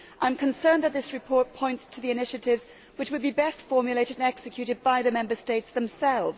I am concerned that this report points to the initiatives which would be best formulated and executed by the Member States themselves.